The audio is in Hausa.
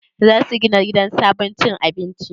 Za su gina sabon gidan cin abinci?